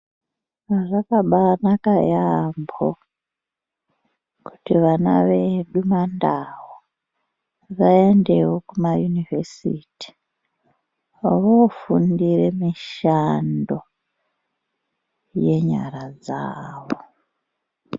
Zvakambainaka yambo kuti vana vedu maNdau vaendewo kumayunivhesiti vanofundire mishando yenyara dzavo.